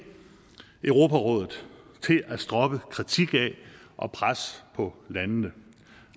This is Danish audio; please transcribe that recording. europarådet til at droppe kritik af og pres på landene